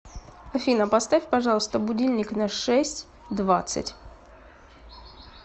афина поставь пожалуйста будильник на шесть двадцать